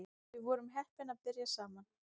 Við vorum heppin að byrja saman